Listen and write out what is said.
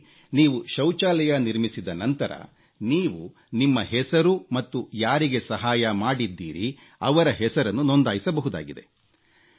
ಇಲ್ಲಿ ನೀವು ಶೌಚಾಲಯ ನಿರ್ಮಿಸಿದ ನಂತರ ನೀವು ನಿಮ್ಮ ಹೆಸರು ಮತ್ತು ಯಾರಿಗೆ ಸಹಾಯ ಮಾಡಿದ್ದೀರಿ ಅವರ ಹೆಸರನ್ನು ನೊಂದಾಯಿಸಬಹುದಾಗಿದೆ